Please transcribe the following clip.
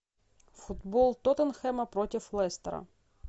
футбол тоттенхэма против лестера